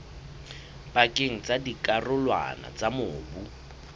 pakeng tsa dikarolwana tsa mobu